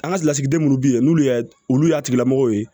An ka lasigiden minnu bɛ yen n'olu y'a olu y'a tigilamɔgɔ ye